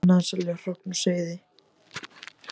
Bannað að selja hrogn og seiði